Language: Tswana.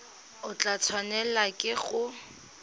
o tla tshwanelwa ke go